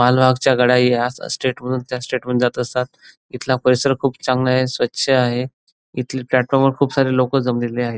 माल वाहकच्या गाड्या ह्या स्टेट वरुन त्या स्टेट वर जात असतात इथला परीसर खूप चांगला आहे स्वच्छ आहे इथल्या प्लॅटफॉर्म वर खूप सारे लोक जमलेली आहेत.